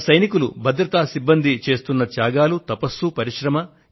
మన జవానులు భద్రత సిబ్బంది చేస్తున్న త్యాగాలు తపస్సు పరిశ్రమ